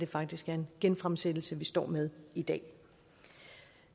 faktisk er en genfremsættelse vi står med i dag